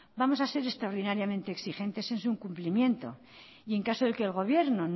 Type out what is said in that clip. vamos a ser extraordinariamente exigentes en su cumplimiento y en caso de que el gobierno